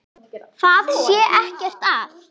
Það sé ekkert að.